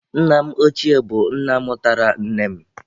Nna m ọchie bụ nna mụtara nne m.